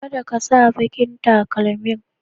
kaɗa ka sa ɓaƙin taƙalmin.